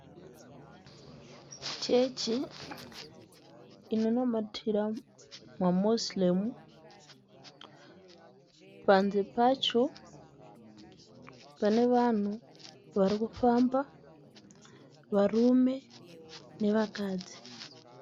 Chechi inonamatira maMoziremu. Panze pacho, pane vanhu varikufamba, varume nevakadzi.